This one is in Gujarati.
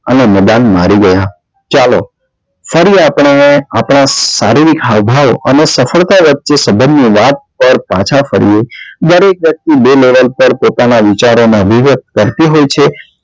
અને મેદાન હારી ગયા ચાલો ફરી આપને આપણા સારીરિક હાવ ભાવ અને સફળતા વ્યક્તિ ના પર પાછા ફરીએ દરેક વ્યક્તિ બે level પર પોતાના વિચારો નાં વિવેક કરતી હોય છે